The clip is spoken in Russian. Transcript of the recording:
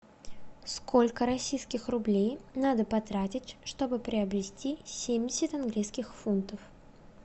сколько российских рублей надо потратить чтобы приобрести семьдесят английских фунтов